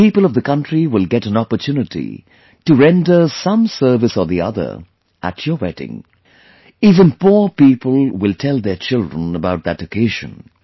The people of the country will get an opportunity to render some service or the other at your wedding... even poor people will tell their children about that occasion